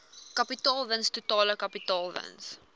kapitaalwins totale kapitaalwins